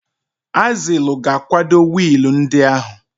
Azilu ga-akwado wiil ndị ahụ.